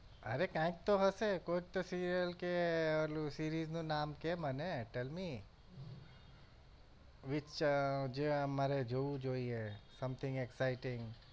અરે કાઈક તો હશે કોઈક તો serial કે ઓલું series નું નામ કહે મને tell me which આહ જે અમારે જોવું જોઈએ Something exciting